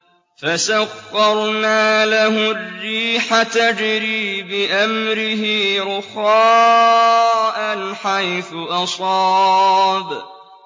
فَسَخَّرْنَا لَهُ الرِّيحَ تَجْرِي بِأَمْرِهِ رُخَاءً حَيْثُ أَصَابَ